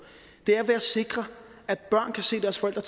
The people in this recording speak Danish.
er ved at sikre at børn kan se deres forældre